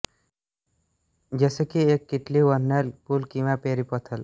जसे की एक किटली व्हेर्नल पूल किंवा प्रेरी पोथोल